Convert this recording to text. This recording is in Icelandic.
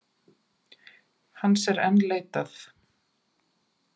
Hans er enn leitað